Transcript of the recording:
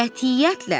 Qətiyyətlə!